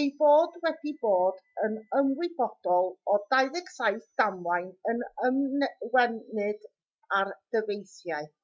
ei bod wedi bod yn ymwybodol o 27 damwain yn ymwneud â'r dyfeisiau